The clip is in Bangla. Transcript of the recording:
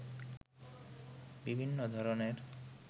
বিভিন্ন ধরনের